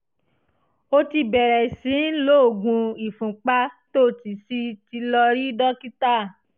o ti bẹ̀rẹ̀ sí í lo oògùn ìfúnpá tó o sì ti lọ rí dókítà